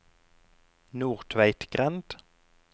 Nordtveitgrend